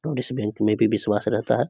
और इस बैंक में भी विश्वास रहता है।